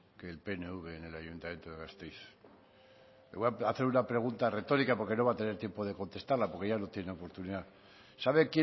que el pnv en el ayuntamiento de gasteiz le voy a hacer una pregunta retórica porque no va a tener tiempo de contestarla porque ya no tiene oportunidad sabe